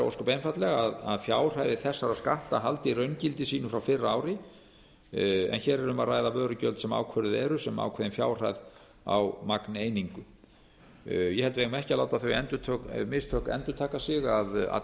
ósköp einfaldlega að fjárhæðir þessara skatta haldi raungildi sínu frá fyrra ári en hér er um að ræða vörugjöld sem ákvörðuð eru sem ákveðin fjárhæð á magneiningu ég held að við eigum ekki að láta þau mistök endurtaka sig að